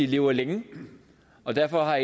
lever længe og derfor har